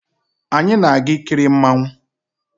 Anyi na-aga ikiri mmanwu